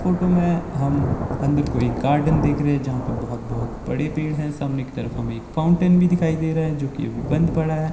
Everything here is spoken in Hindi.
फोटो में हम अंदर को एक गार्डन देख रहे है जहां पे बहोत बहोत बड़े पेड़ है सामने की तरफ हम एक फाउंटेन भी दिखाई दे रहा है जोकि अभी बंद पड़ा है।